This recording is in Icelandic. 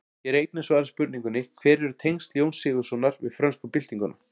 Hér er einnig svarað spurningunni: Hver eru tengsl Jóns Sigurðssonar við frönsku byltinguna?